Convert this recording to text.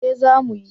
Eh za mu yi